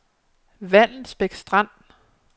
Vallensbæk Strand